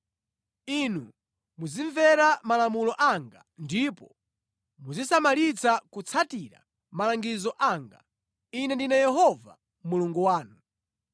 Inu muzimvera malamulo anga ndipo muzisamalitsa kutsatira malangizo anga. Ine ndine Yehova Mulungu wanu.